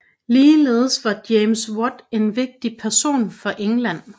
Ligeledes var James Watt en vigtig person for England